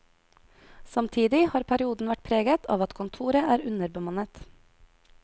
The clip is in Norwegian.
Samtidig har perioden vært preget av at kontoret er underbemannet.